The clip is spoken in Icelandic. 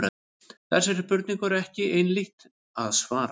Þessari spurningu er ekki einhlítt að svara.